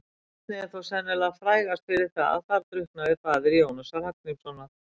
Vatnið er þó sennilega frægast fyrir það að þar drukknaði faðir Jónasar Hallgrímssonar.